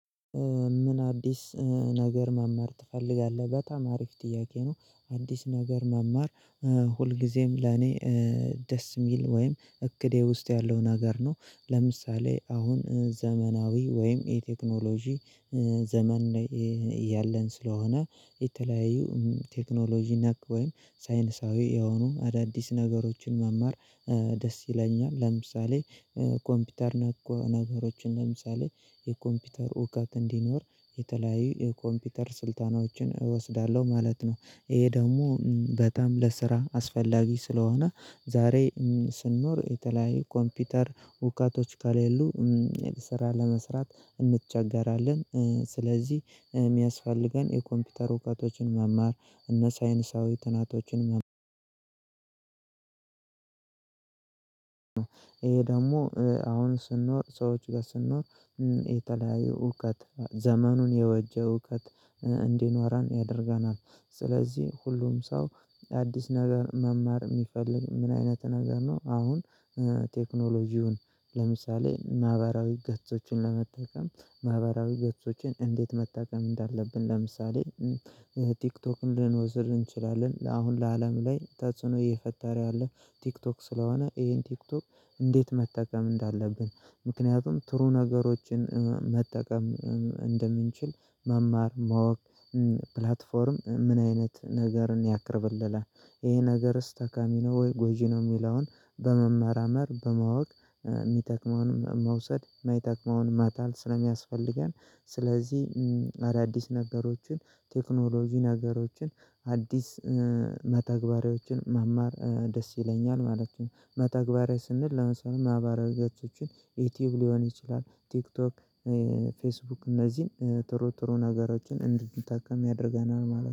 ምን አዲስ ነገር መማር ትፈልጋለህ? በጣም አሪፍ ጥያቄ ነው። አዲስ ነገር መማር ሁልጊዜም ለኔ ደስ የሚል ወይም እቅዴ ውስጥ ያለውን ነገር ነው። ለምሳሌ አሁን ዘመናዊ ወይም የቴክኖሎጂ ዘመን ላይ ያለን ስለሆነ የተለያዩ ቴክኖሎጂ ነክ ወይም ሳይነሳዊ የሆኑ አዳዲስ ነገሮችን መማር ደስ ይለኛል። ለምሳሌ ኮምፒውተር ነገሮችን ለምሳሌ የኮምፒውተር እውቀት እንዲኖር የተለያዩ የኮምፒውተር ስልጠናዎችን እወስዳለሁ ማለት ነው። ይሄ ደግሞ በጣም ለስራ አስፈላጊ ስለሆነ ዛሬ ስንኖር የተለያየ ኮምፒውተር እውቀቶች ከሌሉ ስራ ለመስራት እንቸገራለን። ስለዚህ የሚያስፈልገን የኮምፒውተር እውቀቶችን መማር እና ሳይንሳዊ ጥናቶችን መማር ደግሞ አሁን ስንኖር ሰዎች ጋር ስንኖር የተለያዩ እውቀት ዘመኑን የዋጀ እውቀት እንዲኖረን ያደርገናል። ስለዚህ ሁሉም ሰው አዲስ ነገር መማር የሚፈልግ ምን አይነት ነገር ነው። አሁን ቴክኖሎጂውን ለምሳሌ ማህበራዊ ገጾችን ለመጠቀም ማህበራዊ ገጾችን እንዴት መጠቀም እንዳለብን ለምሳሌ ቲክቶክን ልንወስድ እንችላለን። ለአሁን በአለም ላይ ተጽዕኖ እየፈጠረ ያለ ቲክቶክ ስለሆነ ይሄን ቲክቶክ እንዴት መጠቀም እንዳለብን ምክንያቱም ጥሩ ነገሮችን መጠቀም እንደምንችል መማር ማወቅ ፕላትፎርም ምን አይነት ነገርን ያቀርብልናል ይሄ ነገርስ ጠቃሚ ነው ወይ ጎጂ ነው የሚለውን በመመራመር በማወቅ የሚጠቅመውን መውሰድ ማይጠቅመውን ማጣል ስለሚያስፈልገን ስለዚህ አዳዲስ ነገሮችን ቴክኖሎጂ ነገሮችን አዲስ መተግበሪያዎችን መማር ደስ ይለኛል ማለት ነው። መተግበሪያ ስንል ለምሳሌ ማህበራዊ ይዘቶችን ዩቲዩብ ሊሆን ይችላል ቲክቶክ ፌስቡክ እነዚህን ጥሩ ጥሩ ነገሮችን እንድንጠቀም ያደርገናል ማለት ነው።